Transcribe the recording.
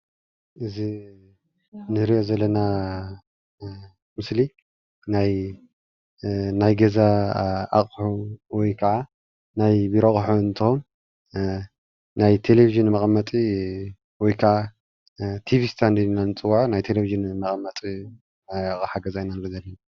እዚ እንሪኦ ዘለና ምስሊ ናይ ገዛ ኣቅሑ ወይ ክዓ ናይ ቢሮ ኣቅሑ እንትኮን ናይ ቴለቪዥን መቀመጢ ወይ ክዓ ቲቪ ስታንድ ኢልና እንፅውዖ ናይ ቴለቪዥን መቀመጢ ናይ ገዛ ኣቅሓ ኢና ንርኢ ዘለና፡፡